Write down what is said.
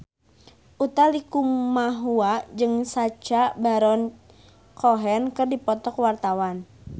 Utha Likumahua jeung Sacha Baron Cohen keur dipoto ku wartawan